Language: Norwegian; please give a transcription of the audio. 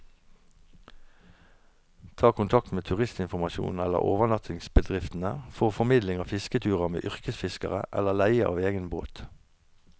Ta kontakt med turistinformasjonen eller overnattingsbedriftene for formidling av fisketurer med yrkesfiskere, eller leie av egen båt.